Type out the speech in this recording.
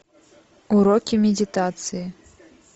уроки медитации